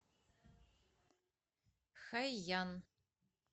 хайян